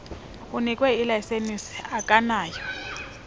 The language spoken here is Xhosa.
unikwe ilayisenisi akanakho